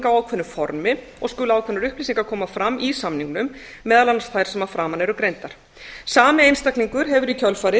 ákveðnu formi og skulu ákveðnar upplýsingar koma fram í samningnum meðal annars þær sem að framan eru greindar sami einstaklingur hefur í kjölfarið